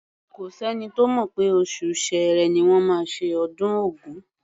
Kò s’ẹ́ni tó mọ̀ pé oṣù Ṣẹẹrẹ ni wọ́n máa ṣe ọdún Ògún.